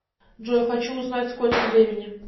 джой хочу узнать сколько времени